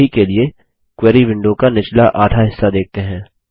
अभी के लिए क्वेरी विंडो का निचला आधा हिस्सा देखते हैं